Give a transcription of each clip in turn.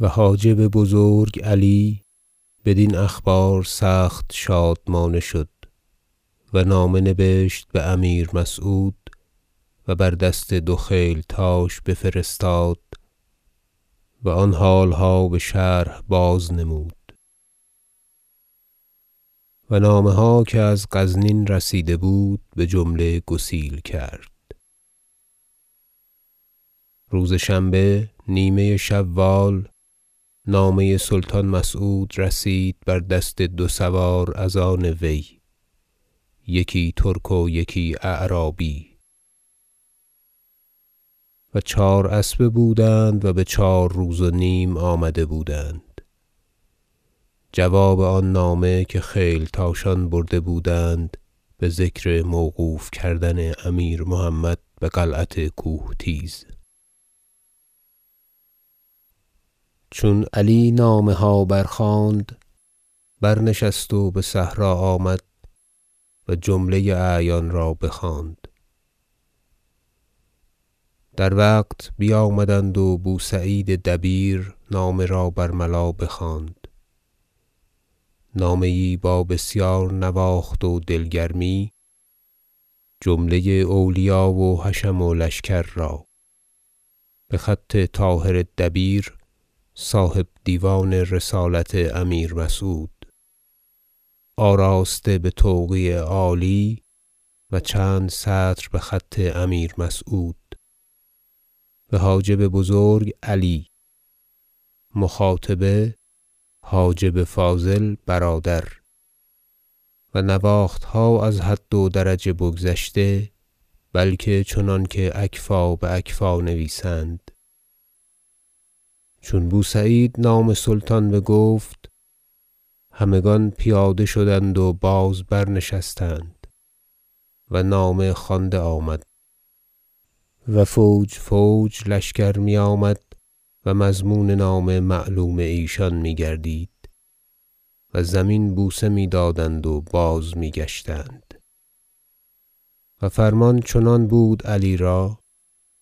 و حاجب بزرگ علی بدین اخبار سخت شادمانه شد و نامه نبشت به امیر مسعود و بر دست دو خیلتاش بفرستاد و آن حالها بشرح بازنمود و نامه ها که از غزنین رسیده بود بجمله گسیل کرد روز شنبه نیمه شوال نامه سلطان مسعود رسید بر دست دو سوار از آن وی یکی ترک و یکی اعرابی -و چهاراسبه بودند و به چهار روز و نیم آمده بودند- جواب آن نامه که خیلتاشان برده بودند به ذکر موقوف کردن امیر محمد به قلعت کوهتیز چون علی نامه ها برخواند برنشست و به صحرا آمد و جمله اعیان را بخواند در وقت بیامدند و بوسعید دبیر نامه را برملا بخواند نامه یی با بسیار نواخت و دل گرمی جمله اولیا و حشم و لشکر را به خط طاهر دبیر صاحب دیوان رسالت امیر مسعود آراسته به توقیع عالی و چند سطر به خط امیر مسعود به حاجب بزرگ علی مخاطبه حاجب فاضل برادر و نواختها از حد و درجه بگذشته بلکه چنانکه اکفاء به اکفاء نویسند چون بوسعید نام سلطان بگفت همگان پیاده شدند و باز برنشستند و نامه خوانده آمد و فوج فوج لشکر می آمد و مضمون نامه معلوم ایشان می گردید و زمین بوسه می دادند و بازمی گشتند و فرمان چنان بود علی را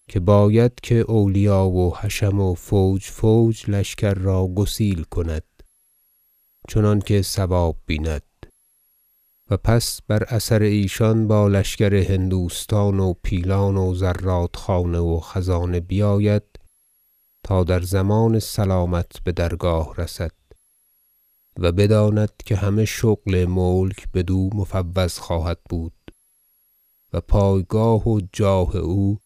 که باید که اولیا و حشم و فوج فوج لشکر را گسیل کند چنانکه صواب بیند و پس بر اثر ایشان با لشکر هندوستان و پیلان و زرادخانه و خزانه بیاید تا در ضمان سلامت به درگاه رسد و بداند که همه شغل ملک بدو مفوض خواهد بود و پایگاه و جاه او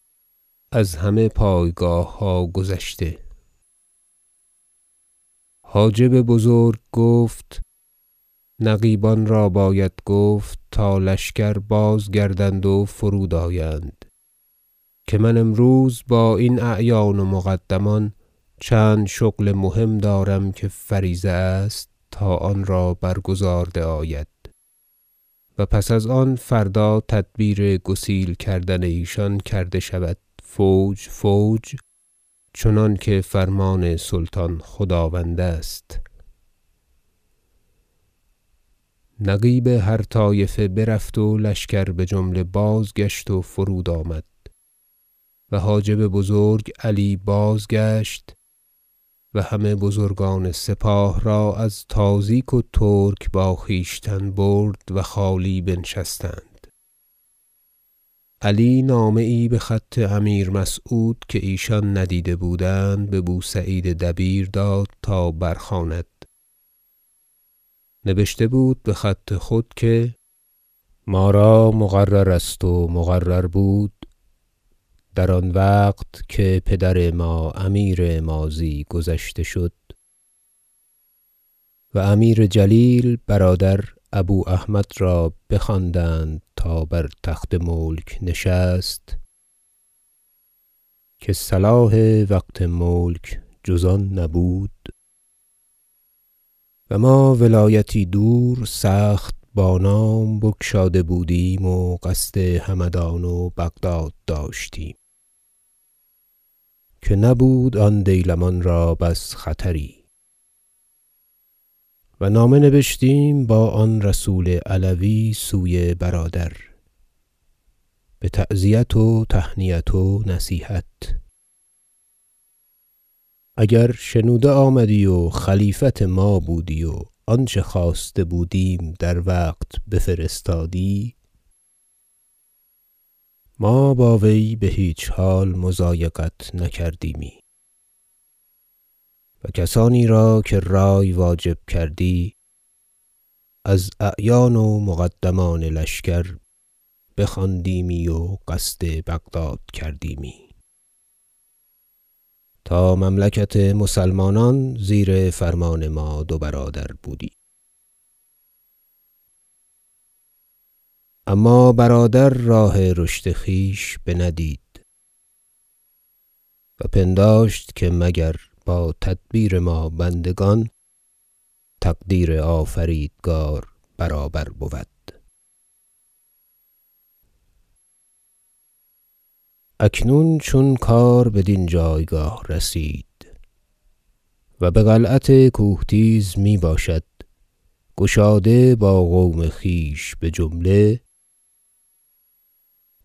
از همه پایگاهها گذشته حاجب بزرگ گفت نقیبان را باید گفت تا لشکر بازگردند و فرود آیند که من امروز با این اعیان و مقدمان چند شغل مهم دارم که فریضه است تا آن را برگزارده آید و پس از آن فردا تدبیر گسیل کردن ایشان کرده شود فوج فوج چنانکه فرمان سلطان خداوند است نقیب هر طایفه برفت و لشکر بجمله بازگشت و فرودآمد و حاجب بزرگ علی بازگشت و همه بزرگان سپاه را از تازیک و ترک با خویشتن برد و و خالی بنشستند علی نامه یی به خط امیر مسعود که ایشان ندیده بودند به بوسعید دبیر داد تا برخواند نبشته بود به خط خود که ما را مقرر است و مقرر بود در آن وقت که پدر ما امیر ماضی گذشته شد و امیر جلیل برادر ابواحمد را بخواندند تا بر تخت ملک نشست که صلاح وقت ملک جز آن نبود و ما ولایتی دور سخت بانام بگشاده بودیم و قصد همدان و بغداد داشتیم که نبود آن دیلمان را بس خطری و نامه نبشتیم با آن رسول علوی سوی برادر به تعزیت و تهنیت و نصیحت اگر شنوده آمدی و خلیفت ما بودی و آنچه خواسته بودیم در وقت بفرستادی ما با وی به هیچ حال مضایقت نکردیمی و کسانی را که رأی واجب کردی از اعیان و مقدمان لشکر بخواندیمی و قصد بغداد کردیمی تا مملکت مسلمانان زیر فرمان ما دو برادر بودی اما برادر راه رشد خویش بندید و پنداشت که مگر با تدبیر ما بندگان تقدیر آفریدگار برابر بود اکنون چون کار بدین جایگاه رسید و به قلعت کوهتیز می باشد گشاده با قوم خویش بجمله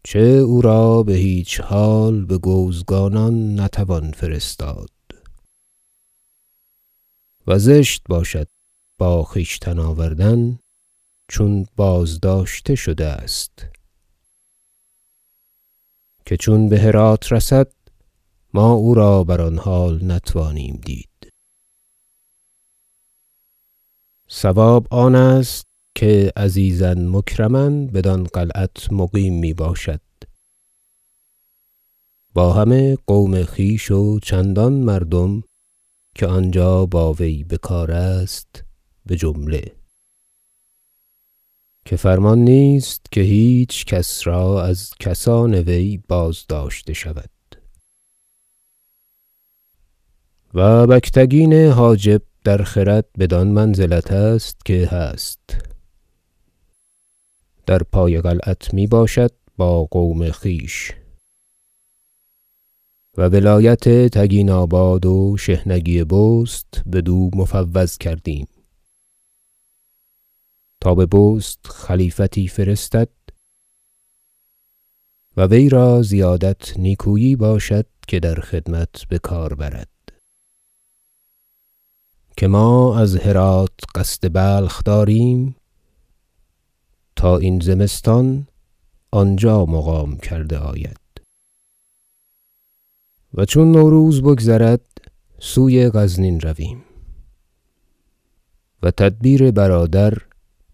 -چه او را به هیچ حال به گوزگانان نتوان فرستاد و زشت باشد با خویشتن آوردن چون بازداشته شده است که چون به هرات رسد ما او را بر آن حال نتوانیم دید- صواب آنست که عزیزا مکرما بدان قلعت مقیم می باشد با همه قوم خویش و چندان مردم که آنجا با وی بکار است بجمله که فرمان نیست که هیچکس را از کسان وی بازداشته شود و بگتگین حاجب در خرد بدان منزلت است که هست در پای قلعت می باشد با قوم خویش و ولایت تگیناباد و شحنگی بست بدو مفوض کردیم تا به بست خلیفتی فرستد و وی را زیادت نیکویی باشد که در خدمت بکار برد که ما از هرات قصد بلخ داریم تا این زمستان آنجا مقام کرده آید و چون نوروز بگذرد سوی غزنین رویم و تدبیر برادر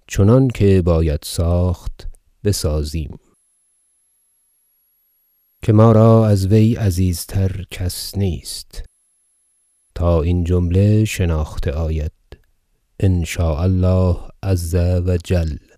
چنانکه باید ساخت بسازیم که ما را از وی عزیزتر کس نیست تا این جمله شناخته آید إن شاء الله عز و جل